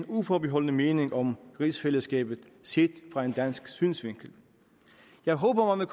uforbeholdne mening om rigsfællesskabet set fra en dansk synsvinkel jeg håber at man